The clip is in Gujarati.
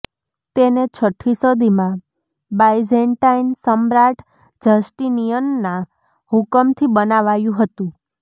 તેને છઠ્ઠી સદીમાં બાઈજેન્ટાઈન સમ્રાટ જસ્ટિનિયનના હુકમથી બનાવાયું હતું